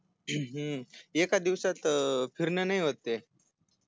हूं हूं एका दिवसात फिरण नाही होत ते